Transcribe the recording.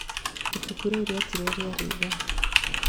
Ifuku riũ rietirwo "Rĩĩra Riega".